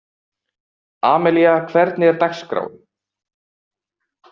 Amelía, hvernig er dagskráin?